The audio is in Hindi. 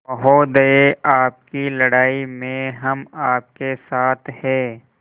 महोदय आपकी लड़ाई में हम आपके साथ हैं